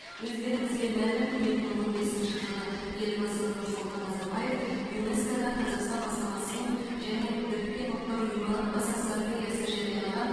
өздеріңізге мәлім екі мың он бесінші жылы елбасы нұрсұлтан назарбаев юнеско да қазақстан бастамасымен және біріккен ұлттар ұйымы бас ассамблеясы жариялаған